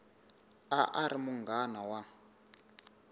a a ri munghana wa